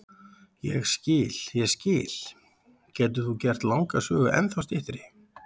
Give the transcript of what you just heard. Ég skil, ég skil, getur þú gert langa sögu ennþá styttri?